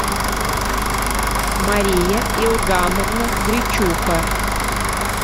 мария иогамовна гречуха